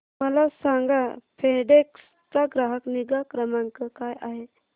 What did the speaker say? मला सांगा फेडेक्स चा ग्राहक निगा क्रमांक काय आहे